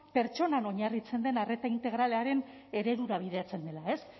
pertsonan oinarritzen den arreta integralaren eredura bideratzen dela ez